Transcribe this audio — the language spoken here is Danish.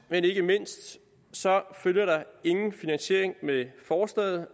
men ikke mindst følger der ingen finansiering med forslaget